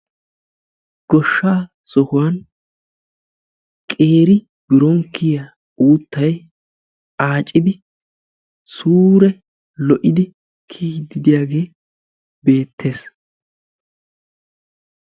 Goshshaa sohuwaan qeeri biron kiyiya uuttay aacidi suure lo'idi kiyiyiidi diyaage beettees.